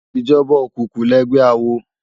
Ijòbá ókúkú lègbè àwó